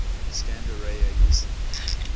scanned array aesa